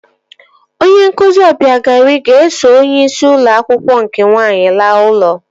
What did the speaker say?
Onye nkụzi Ọbịagaeri ga-eso onyeisi ụlọ akwụkwọ nke nwaanyị laa ụlọ